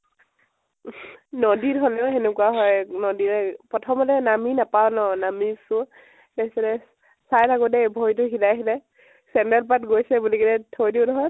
নদীত হলেও সেনেকুৱা হয় । নদীৰে পথমতে নামি নাপাওঁ ন । নামিছো । তাৰ পিছতে, চাই থাকোতে ভৰি তো শিলে শিলে, চেন্দেল পাত গৈছে বুলি কেনে থৈ দিউ নহয়